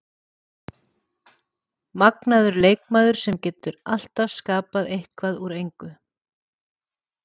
Magnaður leikmaður sem getur alltaf skapað eitthvað úr engu.